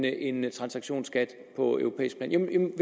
en transaktionsskat på europæisk plan